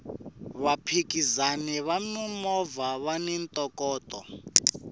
vaphikizani va mimovha vani ntokoto